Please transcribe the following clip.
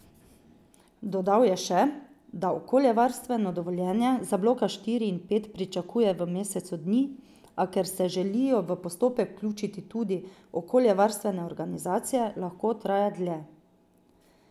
Dodal je še, da okoljevarstveno dovoljenje za bloka štiri in pet pričakuje v mesecu dni, a ker se želijo v postopek vključiti tudi okoljevarstvene organizacije, lahko traja dlje.